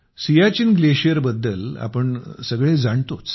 सियाचीन ग्लेशियरबद्दल आपण सगळे जाणतोच